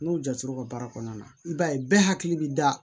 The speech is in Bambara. N'o jat'o ka baara kɔnɔna na i b'a ye bɛɛ hakili bɛ da